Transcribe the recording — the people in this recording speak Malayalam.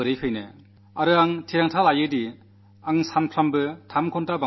ദിവസേന മൂന്നു മണിക്കൂർ അധികമായി പഠിക്കുമെന്ന് ഞാൻ നിശ്ചയിച്ചു